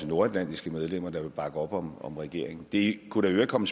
nordatlantiske medlemmer der vil bakke op om om regeringen det kunne der i øvrigt komme